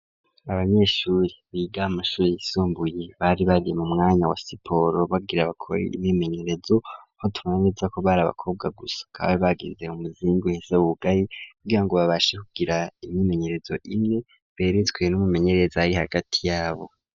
Abanyeshuri biga amashuri yisumbuye bari bari mu mwanya wa siporo , Bagire bakore imyimenyerezo ,aho tubona neza ko bari abakobwa gusa ,bari bagize umuzingi uhese wugaye, kugira ngo babashe kugira imyimenyerezo imwe ,beretswe n'umwimenyerezo ari hagati yabo.